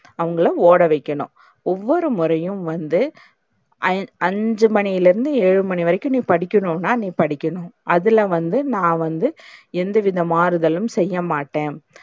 அவங்கள ஓட வைக்கணும். ஒவ்வொரு முறையும் வந்து ஐந் அஞ்சு மணில இருந்து ஏழு மணி வரைக்கும் நீ படிக்கணுனா நீ படிக்கணும் அதுல வந்து நா வந்து எந்த வித மாறுதலும் செய்யமாட்டேன்.